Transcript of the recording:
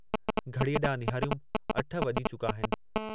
घड़ीअ ॾांहुं निहारियुमि अठ वॼी चुका आहिनि।